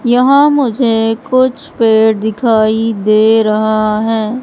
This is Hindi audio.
यहां मुझे कुछ पेड़ दिखाई दे रहा हैं।